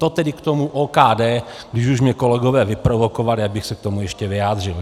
To tedy k tomu OKD, když už mě kolegové vyprovokovali, abych se k tomu ještě vyjádřil.